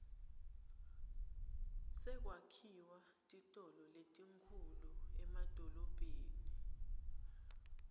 sekwakhiwa titolo letinkhulu emadolobheni